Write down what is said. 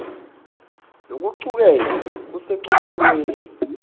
lokucuketfwe kusecophelweni